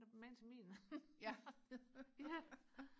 magen til min ja